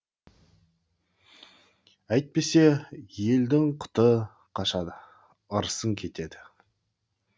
әйтпесе елдің құты қашады ырысың кетеді